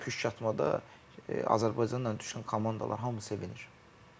püşkatmada Azərbaycanla düşən komandalar hamı sevinir.